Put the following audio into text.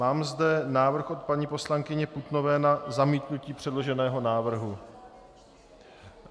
Mám zde návrh od paní poslankyně Putnové na zamítnutí předloženého návrhu.